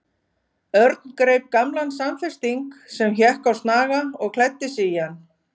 Örn greip gamlan samfesting sem hékk á snaga og klæddi sig í hann.